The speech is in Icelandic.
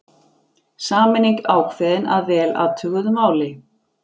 Sameining ákveðin að vel athuguðu máli